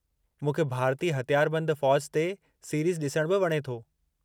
मूंखे भारतीय हथियारबंदि फ़ौज ते सीरीज़ ॾिसणु बि वणे थो।